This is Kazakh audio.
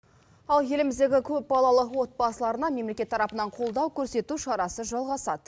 ал еліміздегі көп балалы отбасыларына мемлекет тарапынан қолдау көрсету шарасы жалғасады